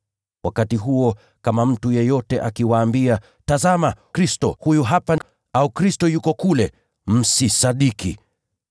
Wakati huo kama mtu yeyote akiwaambia, ‘Tazama, Kristo huyu hapa!’ Au, ‘Kristo yuko kule,’ msisadiki.